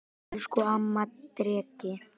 Elsku amma Dreki.